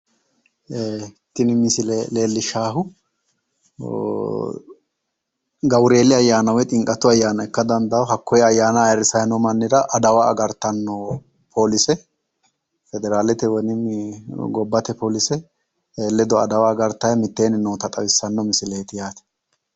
Tini misile leellishshaahu gawureeli ayyaana woyi ximqatu ayyaana ikka dandawo. Hakkoye ayyaana ayirrisayi noo mannira adawa agartanno poolise federaalete woyi gobbate poolise ledo adawa agartayi mitteenni noota xawissanno misileeti yaate.